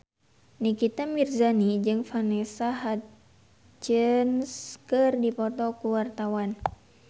Nikita Mirzani jeung Vanessa Hudgens keur dipoto ku wartawan